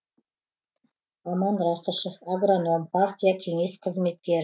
аман рақышев агроном партия кеңес қызметкер